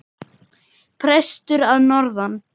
Prestur að norðan!